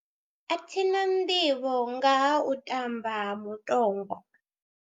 A thi na nḓivho nga ha u tamba ha mutogwa.